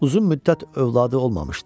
Uzun müddət övladı olmamışdı.